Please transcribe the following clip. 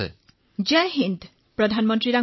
তৰন্নুম খানঃ জয় হিন্দ প্ৰধানমন্ত্ৰী ডাঙৰীয়া